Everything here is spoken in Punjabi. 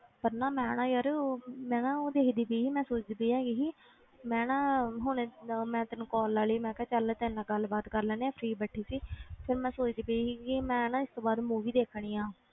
ਪਰ ਨਾ ਮੈਂ ਨਾ ਯਾਰ ਮੈਂ ਨਾ ਉਹ ਦੇਖਦੀ ਪਈ ਸੀ ਮੈਂ ਸੋਚਦੀ ਪਈ ਹੈਗੀ ਸੀ ਮੈਂ ਨਾ ਹੁਣੇ ਅਹ ਮੈਂ ਤੈਨੂੰ call ਲਾ ਲਈ ਮੈਂ ਕਿਹਾ ਚੱਲ ਤੇਰੇ ਨਾਲ ਗੱਲ ਬਾਤ ਕਰ ਲੈਂਦੇ ਹਾਂ free ਬੈਠੀ ਸੀ ਫਿਰ ਮੈਂ ਸੋਚਦੀ ਪਈ ਸੀਗੀ ਮੈਂ ਨਾ ਇਸ ਤੋਂ ਬਾਅਦ movie ਦੇਖਣੀ ਆਂ